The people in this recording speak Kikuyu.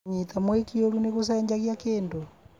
Kũnyita mwĩkĩ ũũru nĩ gũcenjagia kĩndũ?